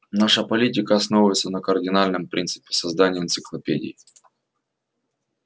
наша политика основывается на кардинальном принципе создании энциклопедии